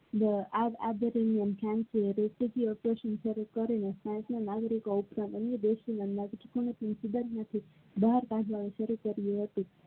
આ બહાર કાઢવામાં આવે છે.